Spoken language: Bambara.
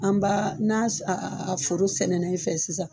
An b'a n'a a foro sɛnɛna i fɛ sisan